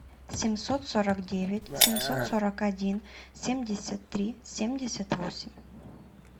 семьсот сорок девять семьсот сорок один семьдесят три семьдесят восемь